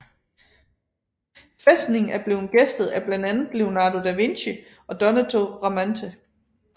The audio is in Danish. Fæstningen er blevet gæstet af blandt andre Leonardo da Vinci og Donato Bramante